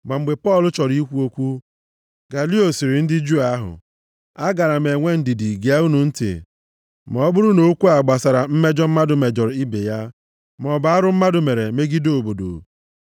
Ma mgbe Pọl chọrọ ikwu okwu, Galio sịrị ndị Juu ahụ, “Agaara m enwe ndidi gee unu ntị ma ọ bụrụ na okwu a gbasara mmejọ mmadụ mejọrọ ibe ya, maọbụ arụ mmadụ mere megide obodo.